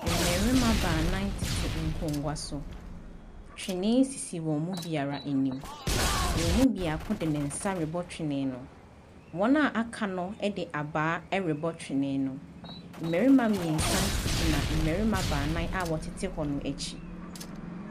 Mmarima nnan tete nkonnwa so, twene sisi wɔn mu biara anim, wɔn mu baako de ne nsa rebɔ twene no, wɔn a aka de abaa ɛrebɔ twene no, mmarima mmiɛnsa gyina mmarima nnan a wɔtete hɔ no akyi.